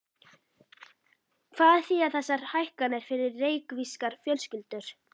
Hvað þýða þessar hækkanir fyrir reykvískar fjölskyldur?